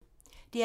DR P3